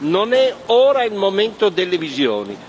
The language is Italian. Non è ora il momento delle visioni.